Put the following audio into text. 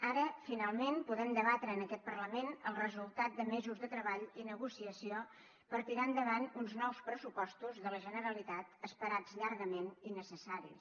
ara finalment podem debatre en aquest parlament el resultat de mesos de treball i negociació per tirar endavant uns nous pressupostos de la generalitat esperats llargament i necessaris